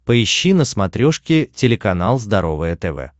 поищи на смотрешке телеканал здоровое тв